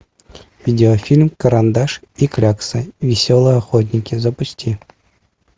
видеофильм карандаш и клякса веселые охотники запусти